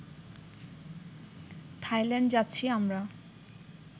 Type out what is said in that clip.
Thailand যাচ্ছি আমরা